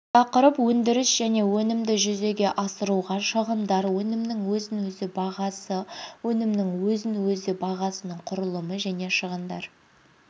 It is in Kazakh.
тақырып өндіріс және өнімді жүзеге асыруға шығындар өнімнің өзін-өзі бағасы өнімнің өзін-өзі бағасының құрылымы және шығындар